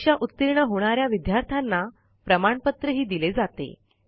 परीक्षा उतीर्ण होणा या विद्यार्थ्यांना प्रमाणपत्रही दिले जाते